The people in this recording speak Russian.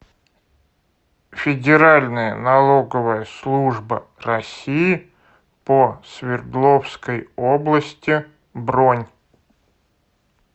федеральная налоговая служба россии по свердловской области бронь